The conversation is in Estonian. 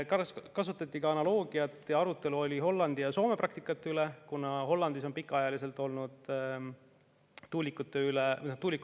Kasutati analoogiat ning oli arutelu Hollandi ja Soome praktika üle, kuna Hollandis on tuulikud olnud pikaajaliselt kasutusel.